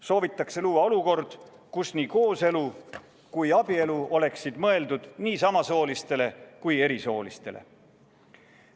Soovitakse luua olukord, kus nii kooselu kui ka abielu oleksid mõeldud nii samasoolistele kui ka erisoolistele.